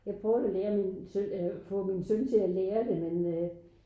Jeg prøvet at lære min søn eller få min søn til at lære det men øh